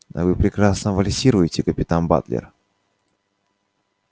а вы прекрасно вальсируете капитан батлер